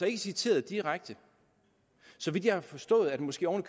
ikke citeret direkte så vidt jeg har forstået er det måske oven